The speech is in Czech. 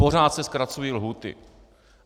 Pořád se zkracují lhůty.